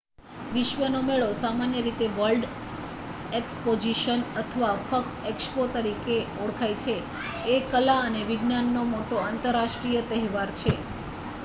વિશ્વનો મેળો સામાન્ય રીતે વર્લ્ડ એક્સપોઝિશન અથવા ફક્ત એક્સપો તરીકે ઓળખાય છે એ કલા અને વિજ્ઞાનનો મોટો આંતરરાષ્ટ્રીય તહેવાર છે